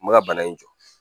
N bɛ ka bana in jɔ